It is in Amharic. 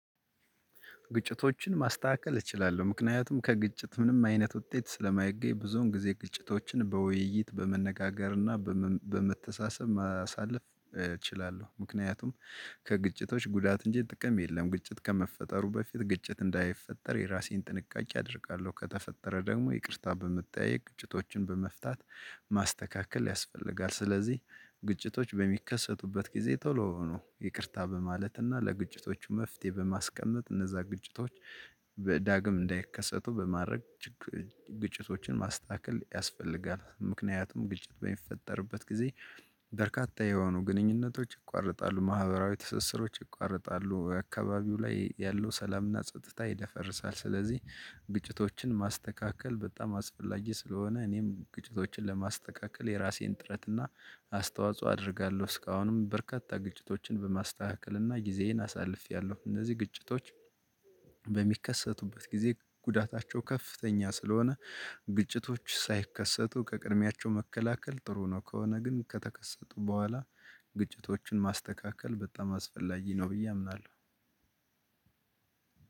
ግጭቶችን ማስተካከል እችላለሁ ምክንያቱም ከግጭት ምንም አይነት ውጤት ስለማይገኝ ብዙውን ጊዜ ግጭቶችን በውይይት በመነጋገር እና በመተሳሰብ ማሳለፍ እችላለሁ ምክንያቱም። ከግጭቶች ጉዳት እንጂ ጥቅም የለም ግጭት ከመፈጠሩ በፊት ግጭት እንዳይፈጠር የራሴን ጥንቃቄ አደርጋለሁ ከተፈጠረ ደግሞ ይቅርታ በመጠያየቅ ግጭቶችን በመፍታት። ማስተካከል ያስፈልጋል ስለዚህ ግጭቶች በሚከሰቱበት ጊዜ ቶሎውኑ ይቅርታ በማለት እና ለግጭቶቹ መፍትሄ በማስቀመጥ እነዛ ግጭቶች በዳግም እንዳይከሰቱ በማድረግ። ግጭቶችን ማስተካከል ያስፈልጋል ምክንያቱም ግጭት በሚፈጠርበት ጊዜ። በርካታ የሆኑ ግንኙነቶች ይቋረጣሉ ማህበራዊ ትስስሮች ይቋረጣሉ በአካባቢው ላይ ያለው ሰላምና ጸጥታ ይደፈርሳል። ስለዚህ ግጭቶችን ማስተካከል በጣም አስፈላጊ ስለሆነ እኔም ግጭቶችን ለማስተካከል የራሴን ጥረት እና አስተዋጽኦ አደርጋለሁ። እስካሁንም በርካታ ግጭቶችን በማስተካከልና ጊዜዬን አሳልፌያለሁ እነዚህ ግጭቶች። በሚከሰቱበት ጊዜ ጉዳታቸው ከፍተኛ ስለሆነ። ግጭቶች ሳይከሰቱ ከቅድሚያቸው መከላከል ጥሩ ነው። ከሆነ ግን ከተከሰቱ በኋላ ግጭቶችን ማስተካከል በጣም አስፈላጊ ነው ብዬ አምናለሁ።